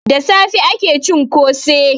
Da safe ake cin kose.